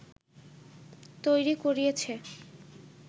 তৈরি করিয়েছে